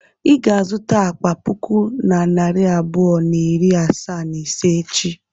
I ga-azụta akpa puku na narị abụọ na iri asaa na ise echi.